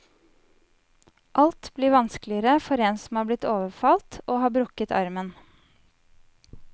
Alt blir vanskeligere for en som er blitt overfalt og har brukket armen.